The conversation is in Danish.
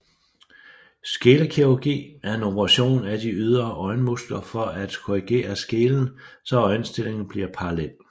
Skelekirurgi er en operation af de ydre øjenmuskler for at korrigere skelen så øjenstillingen bliver parallel